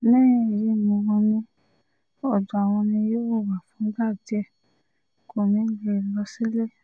lẹ́yìn èyí ni wọ́n ní ọ̀dọ̀ àwọn ni yóò wà fúngbà díẹ̀ kó ní í lè lọ sílé